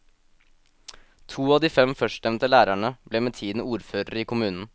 To av de fem førstnevnte lærerne ble med tiden ordførere i kommunen.